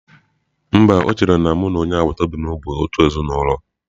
Mba, o chere na mụ na onye agbata obi m bụ otu ezinụlọ.